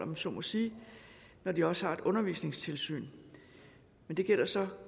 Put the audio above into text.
man så må sige når de også har et undervisningstilsyn men det gælder så